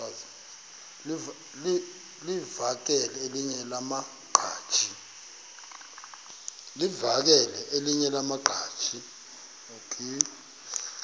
livakele elinye lamaqhaji